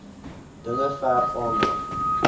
dinge verg aandag